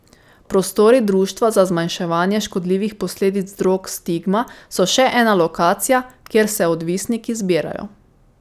Prostori društva za zmanjševanje škodljivih posledic drog Stigma so še ena lokacija, kjer se odvisniki zbirajo.